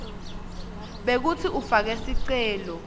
bekutsi ufake sicelo